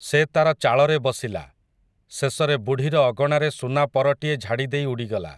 ସେ ତା'ର ଚାଳରେ ବସିଲା, ଶେଷରେ ବୁଢ଼ୀର ଅଗଣାରେ ସୁନା ପରଟିଏ ଝାଡ଼ିଦେଇ ଉଡ଼ିଗଲା ।